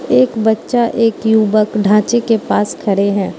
एक बच्चा एक युवक ढांचे के पास खड़े हैं।